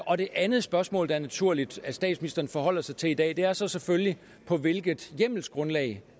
og det andet spørgsmål er naturligt at statsministeren forholder sig til i dag er så selvfølgelig på hvilket hjemmelsgrundlag